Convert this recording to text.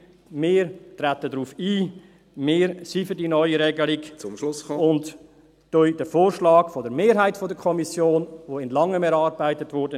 Wir treten darauf ein, wir sind für die neue Regelung … und unterstützen den Vorschlag der Mehrheit der Kommission, der in Langem erarbeitet wurde.